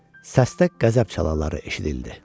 Səsdə qəzəb çalarları eşidildi.